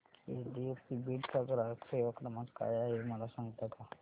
HDFC Beed चा ग्राहक सेवा क्रमांक काय आहे मला सांगता का